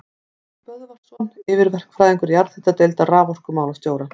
Böðvarsson yfirverkfræðingur jarðhitadeildar raforkumálastjóra.